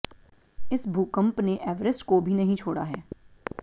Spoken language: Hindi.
इस भूकंप ने एवरेस्ट को भी नहीं छोड़ा है